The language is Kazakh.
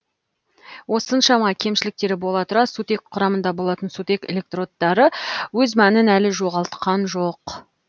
осыншама кемшіліктері бола тұра сутек құрамында болатын сутек электродтары өз мәнін әлі жоғалтқан жоқ